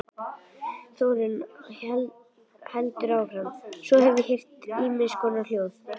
Þórunn heldur áfram:- Svo hef ég heyrt ýmiss konar hljóð.